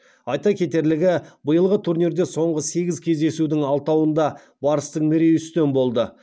айта кетерлігі биылғы турнирде соңғы сегіз кездесудің алтауында барыстың мерейі үстем болды